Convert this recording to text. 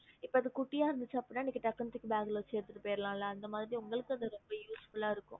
இப்போ அது குட்டிய இருந்துச்சி அப்டினா நீங்க டக்குனு தூக்கி bag வச்சிட்டு போல இல்ல